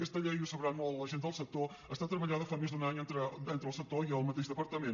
aquesta llei i ho deuen saber molt la gent del sector ha estat treballada fa més d’un any entre el sector i el mateix departament